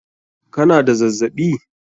Ka na da zazzaɓi?